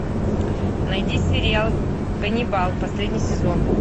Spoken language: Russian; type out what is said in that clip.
найди сериал ганнибал последний сезон